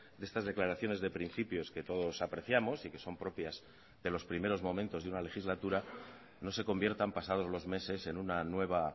de estas declaraciones de principios que todos apreciamos y que son propias de los primeros momentos de una legislatura no se conviertan pasados los meses en una nueva